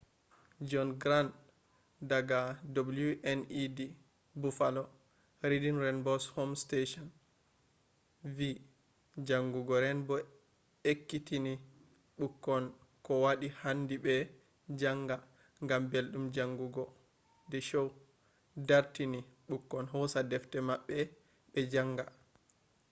john grant daga wned buffalo reading rainbow’s home station vi jangugo rainbow ekkitini bukkon kowadi handi be janga.....gam beldum jangugo - [the show] dartini bukkon hosa defte mabbe be janga